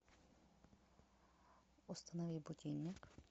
установи будильник